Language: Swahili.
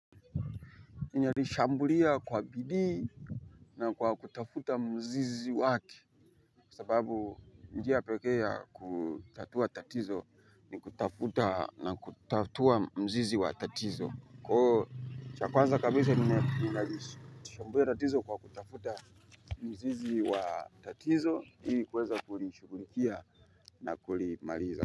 Ninalishambulia kwa bidii. Na kwa kutafuta mzizi wake. Kwa sababu njia pekee ya kutatua tatizo ni kutafuta na kutatua mzizi wa tatizo kwa hivyo cha kwanza kabisha ninalishashambulia tatizo kwa kutafuta. Mzizi wa tatizo ili kuweza kulishughulikia na kulimaliza.